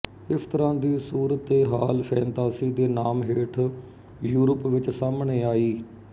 ਇਸ ਤਰ੍ਹਾਂ ਦੀ ਸੂਰਤਏਹਾਲ ਫੈਨਤਾਸੀ ਦੇ ਨਾਮ ਹੇਠ ਯੂਰਪ ਵਿੱਚ ਸਾਹਮਣੇ ਆਈ